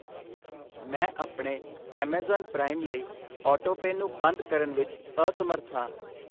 ਮੈਂ ਆਪਣੇ Amazon prime ਲਈ ਆਟੋਪੇਅ ਨੂੰ ਬੰਦ ਕਰਨ ਵਿੱਚ ਅਸਮਰੱਥ ਹਾਂ।